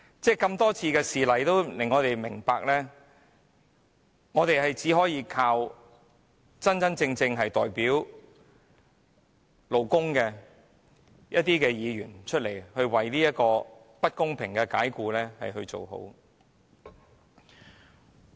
眾多事例讓我們明白到，工人只可倚靠真正代表勞工的議員就不公平的解僱的問題發聲。